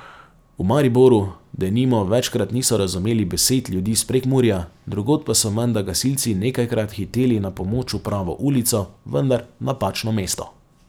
V Mariboru, denimo, večkrat niso razumeli besed ljudi iz Prekmurja, drugod pa so menda gasilci nekajkrat hiteli na pomoč v pravo ulico, vendar v napačno mesto.